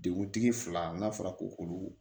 Deguntigi fila n'a fɔra ko olu